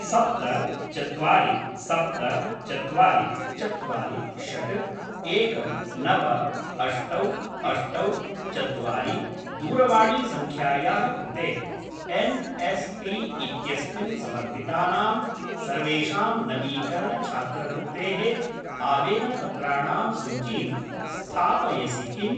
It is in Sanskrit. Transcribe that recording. सप्त चत्वारि सप्त चत्वारि चत्वारि षट् एकं नव अष्टौ अष्टौ चत्वारि दूरवाणीसङ्ख्यायाः कृते एन्.एस्.पी. इत्यस्मिन् समर्पितानां सर्वेषां नवीकरण छात्रवृत्तेः आवेदनपत्राणां सूचीं स्थापयसि किम्?